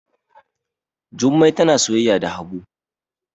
Jummai tana soyayya da habu